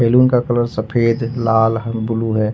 Balloon का colour सफेद लाल ब्लू है।